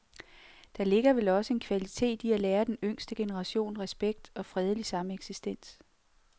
Der ligger vel også en kvalitet i at lære den yngste generation respekt og fredelig sameksistens.